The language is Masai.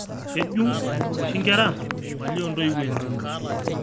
Kejung' oshi nkera maali oo ntoiwuo enye